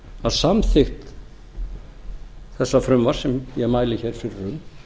að samþykkt þessa frumvarps sem ég mæli hér fyrir um